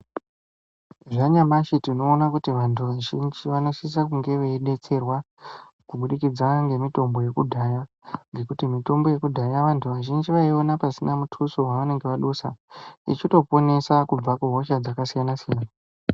Zvanyamashi tinoona kuti vantu vazhinji vanosisa kunge veidetserwa kubudikidza ngemitombo yekudhaya, Ngekuti mitombo yekudhaya vantu vazhinji vaiiona pasina mutuso wavange vadusa, ichitoponesa kubva kuhosha dzakasiyana-siyana.